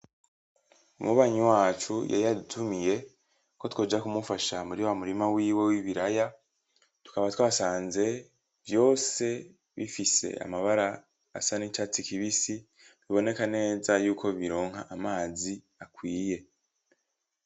Umubanyi wacu yari yadutumiye ko twoja ku mufasha muri w'amurima wiwe w'ibiraya tukaba twasanze vyose bifise amabara asa n'icatsi kibisi biboneka neza yuko bironka amazi akwiye.